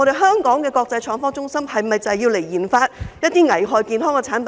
香港的國際創科中心是否用以研發一些危害健康的產品呢？